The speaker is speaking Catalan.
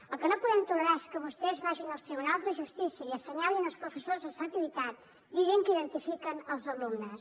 el que no podem tolerar és que vostès vagin als tribunals de justícia i assenyalin els professors de selectivitat dient que identifiquen els alumnes